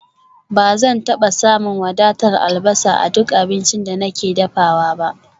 Ba zan taba samun wadatar albasa a duk abincin da nake dafawa ba